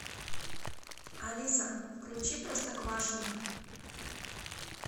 алиса включи простоквашино